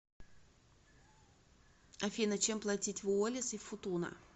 афина чем платить в уоллис и футуна